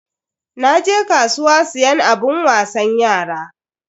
Naje kasuwa siyan abun wasan yara.